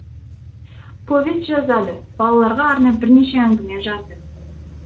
повест жазды балаларға арнап бірнеше әңгіме жазды